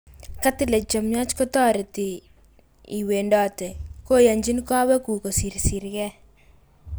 cartilage chemiach kotoreti n iwendote koyonchin kowekguk kosirsisgei